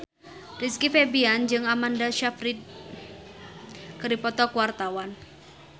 Rizky Febian jeung Amanda Sayfried keur dipoto ku wartawan